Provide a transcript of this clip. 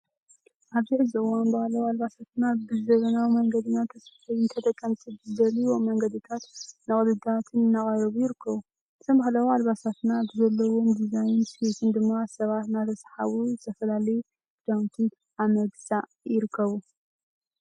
ኣብዚ ሕዚ እዋን ባህላዊ ኣልባሳትና ብዘበናዊ መንገዲ እናተሰፈዩ ንተጠቀምቲ ብዝደልዩዎም መንገድታትን ቅድታትን እናቀረቡ ይርከቡ። እዞም ባህላዊ ኣልባሳትና ብዘለዎም ድዛይንን ስፌትን ድማ ሰባት እናተስሓቡ ዝተፈላለዩ ክዳውንቲ ኣብ ምግዛይ ይርከቡ።